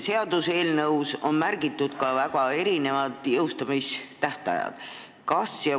Seaduseelnõus on märgitud väga erinevad jõustumise tähtajad.